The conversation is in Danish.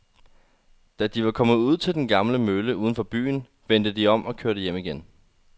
Da de var kommet ud til den gamle mølle uden for byen, vendte de om og kørte hjem igen.